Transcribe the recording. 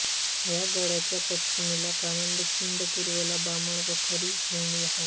या गडाच्या पश्चिमेला कानद खिंड पूर्वेला बामण व खरीव खिंडी आहेत